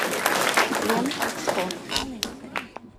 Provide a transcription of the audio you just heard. ленэкспо